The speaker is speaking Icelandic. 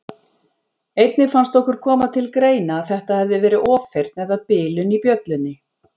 Einnig fannst okkur koma til greina að þetta hefði verið ofheyrn eða bilun í bjöllunni.